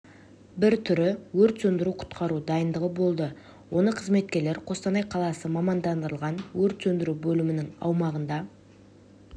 бір түрі өрт сөндіру-құтқару дайындығы болды оны қызметкерлер қостанай қаласы мамандандырылған өрт сөндіру бөлімінің аумағында